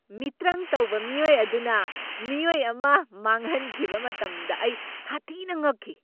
ꯃꯤꯇ꯭ꯔꯪ ꯇꯧꯕ ꯃꯤꯑꯣꯏ ꯑꯗꯨꯅ ꯃꯤꯑꯣꯏ ꯑꯃ ꯃꯥꯡꯍꯟꯈꯤꯕ ꯃꯇꯝꯗ ꯑꯩ ꯁꯥꯊꯤꯅ ꯉꯛꯈꯤ ꯫